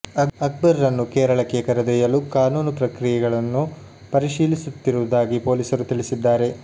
ಅಕ್ಬರ್ ರನ್ನು ಕೇರಳಕ್ಕೆ ಕರೆದೊಯ್ಯಲು ಕಾನೂನು ಪ್ರಕ್ರಿಯೆಗಳನ್ನು ಪರಿಶೀಲಿಸು ತ್ತಿರುವುದಾಗಿ ಪೊಲೀಸರು ತಿಳಿಸಿದ್ದಾರೆ